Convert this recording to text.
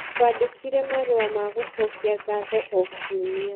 Twandĩkĩre marũa ma gũcokia ngatho o kiumia